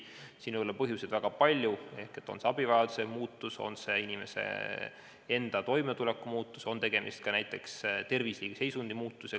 Siin võib olla põhjuseid väga palju: see võib olla abivajaduse muutumine, inimese enda toimetuleku muutumine, ka näiteks tervisliku seisundi muutumine.